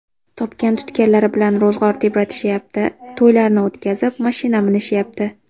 Topgan-tutganlari bilan ro‘zg‘or tebratishayapti, to‘ylarni o‘tkazib, mashina minishayapti.